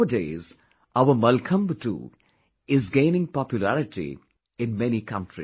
Nowadays our Mallakhambh too is gaining popularity in many countries